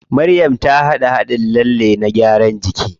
Maryam ta haɗa haɗin lalle na gyaran jiki.